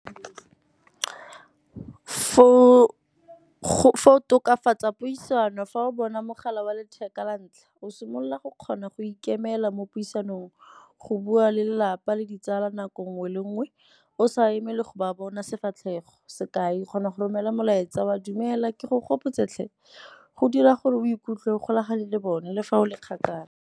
Fo go tokafatsa puisano fa o bona mogala wa letheka wa ntlha, o simolola go kgona go ikemela mo puisanong go bua le lapa le ditsala nako nngwe le nngwe o sa emele go ba bona sefatlhego. Sekai, o kgona go romela molaetsa wa, dumela ke go gopotse tlhe, go dira gore o ikutlwe o golagane le bone le fa o le kgakala.